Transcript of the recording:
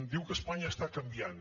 diu que espanya està canviant